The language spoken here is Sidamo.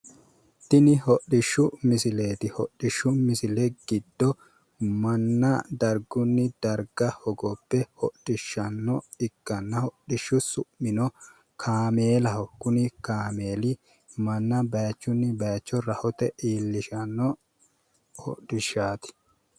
Tini hodhishshu misileeti tini hodhishshu misile giddo manna dargunni darga hogobbe hodhishshanno ikkanna, hodhishshu su'mino kaameelaho, kuni kaameeli manna baayiichunni baayiicho rahote iillishanno.